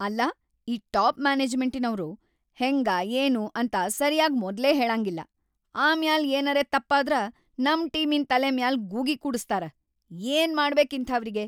ಅಲ್ಲಾ ಈ ಟಾಪ್‌ ಮ್ಯಾನೆಜ್ಮೆಂಟಿನವ್ರು ಹೆಂಗ ಏನು ಅಂತ ಸರೀ ಆಗಿ ಮೊದ್ಲ ಹೇಳಂಗಿಲ್ಲಾ ಆಮ್ಯಾಲ್ ಏನರೆ ತಪ್ಪಾದ್ರ ನಮ್‌ ಟೀಮಿನ್‌ ತಲಿ ಮ್ಯಾಲ್ ಗೂಗಿ ಕೂಡಸ್ತಾರ‌, ಏನ್‌ ಮಾಡ್ಬೇಕ್‌ ಇಂಥಾವ್ರಿಗಿ.